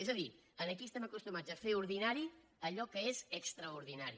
és a dir aquí estem acostumats a fer ordinari allò que és extraordinari